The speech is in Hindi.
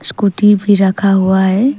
स्कूटी भी रखा हुआ है।